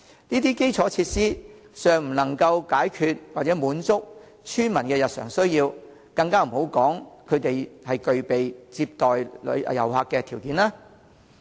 這些基礎設施尚不能滿足村民的日常需要，更不要說具備接待遊客的條件。